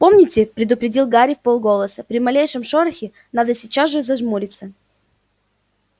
помните предупредил гарри вполголоса при малейшем шорохе надо сейчас же зажмуриться